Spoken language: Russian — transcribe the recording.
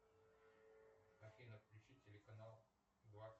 афина включи телеканал